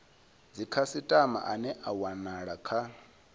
dzikhasitama ane a wanala kha